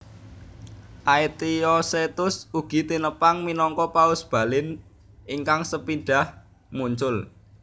Aetiosetus ugi tinepang minangka paus Balin ingkang sepindhah muncul